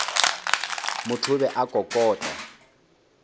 motho o be a kokota